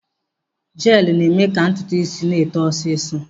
Jeelụ na-eme ka ntutu isi na-eto ọsịsọ.